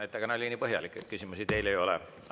Ettekanne oli nii põhjalik, et küsimusi teile ei ole.